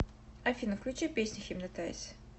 афина включи песня хипнотайз